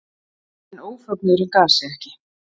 En ófögnuðurinn gaf sig ekki.